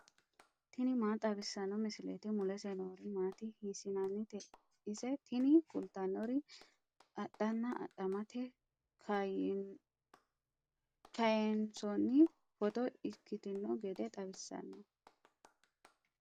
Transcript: tini maa xawissanno misileeti ? mulese noori maati ? hiissinannite ise ? tini kultannori adhanna adhamate kayiinsoonni footo ikkitino gede xawissanno.